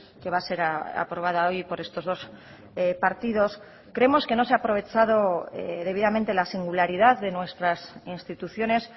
que va a ser aprobada hoy por estos dos partidos creemos que no se ha aprovechado debidamente la singularidad de nuestras instituciones